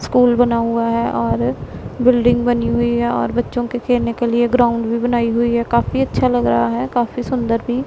school बना हुआ हैं और बिल्डिंग बनी हुई हैं और बच्चों के खेलने के लिए ग्राउंड भी बनाई हुई हैं काफी अच्छा लग रहा है काफी सुंदर भी --